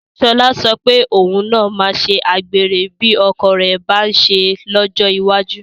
Sọlá sọ pé òun náà máa ṣe àgbèrè bí ọkọ rẹ̀ bá ń ṣe é lọ́jọ́ iwájú